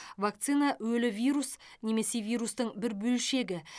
вакцина өлі вирус немесе вирустың бір бөлшегі